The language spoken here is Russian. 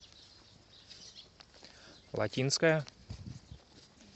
латинская